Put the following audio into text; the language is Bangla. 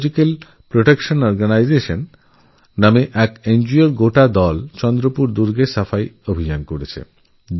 ইকোলজিক্যাল প্রোটেকশন অর্গানাইজেশন নামে একটি নগো র পুরো টিম চন্দ্রপুর কেল্লায় সাফাই অভিযান চালিয়েছিল